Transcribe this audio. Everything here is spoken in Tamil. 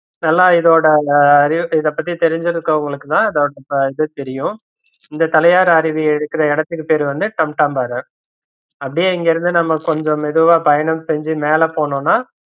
நல்லா இதோட அந்த இதபத்தி தெரிஞ்சிருகவுங்களுக்கு தா இதொடது தெரியும் இந்த தலையாரு அறிவி இருக்குற எடத்துக்கு பேரு வந்து `டம்டாம் பாறை அப்படியே இங்க இருந்து நம்ம கொஞ்சம் மெதுவா பயணம் செஞ்சு மேல போனோம்னா